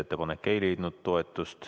Ettepanek ei leidnud toetust.